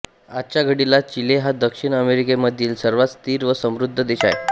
आजच्या घडिला चिले हा दक्षिण अमेरिकेमधील सर्वात स्थिर व समृद्ध देश आहे